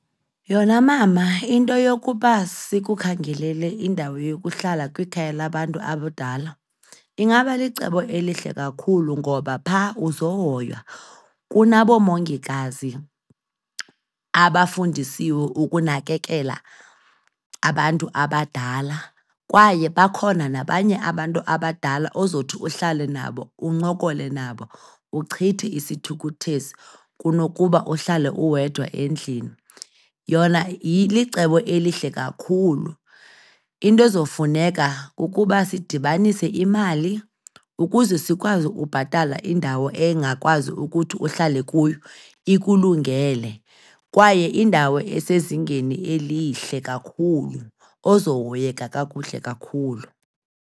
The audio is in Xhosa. Yona, mama, into yokuba sikukhangelele indawo yokuhlala kwikhaya labantu abadala ingabalicebo elihle kakhulu ngoba phaa uzohoywa. Kunaboomongikazi abafundisiwe ukunakekela abantu abadala kwaye bakhona nabanye abantu abadala ozothi uhlale nabo, uncokole nabo uchithe isithukuthezi, kunokuba uhlale uwedwa endlini. Yona licebo elihle kakhulu. Into ezofuneka kukuba sidibanise imali ukuze sikwazi ukubhatala indawo engakwazi ukuthi uhlale kuyo ikulungele kwaye indawo esezingeni elihle kakhulu ozohoyeka kakuhle kakhulu.